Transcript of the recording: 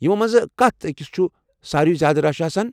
یمو منٛزٕ کتھ أکس چھُ سارِوے زیٛادٕ رش آسان؟